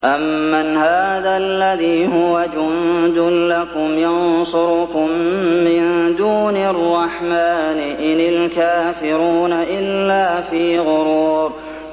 أَمَّنْ هَٰذَا الَّذِي هُوَ جُندٌ لَّكُمْ يَنصُرُكُم مِّن دُونِ الرَّحْمَٰنِ ۚ إِنِ الْكَافِرُونَ إِلَّا فِي غُرُورٍ